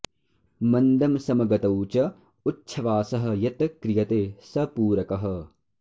मन्दं समगतौ च उच्छ्वासः यत् क्रियते सः पूरकः